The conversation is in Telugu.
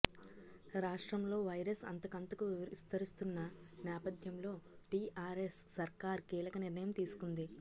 రాష్ట్రంలో వైరస్ అంతకంతకూ విస్తరిస్తున్న నేపథ్యంలో టీఆర్ఎస్ సర్కార్ కీలక నిర్ణయం తీసుకుంది